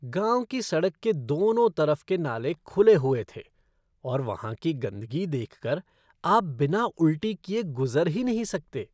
गाँव की सड़क के दोनों तरफ के नाले खुले हुए थे और वहाँ की गंदगी देख कर आप बिना उलटी किए गुज़र ही नहीं सकते।